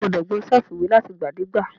A gbọ́dọ̀ gbọn ṣẹ́ẹ̀fù ìwé láti ìgbà dé ìgbà.